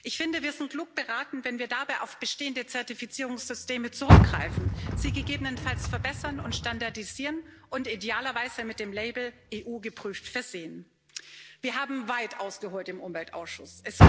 Ich finde, wir sind klug beraten, wenn wir dabei auf bestehende Zertifizierungssysteme zurückgreifen, sie gegebenenfalls verbessern und standardisieren und idealerweise mit dem Label EU geprüft versehen. Wir haben weit ausgeholt im Umweltausschuss.